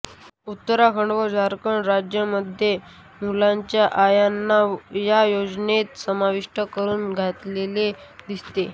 उत्तराखंड व झारखंड राज्यांमध्ये मुलांच्या आयांना या योजनेत समाविष्ट करून घेतलेले दिसते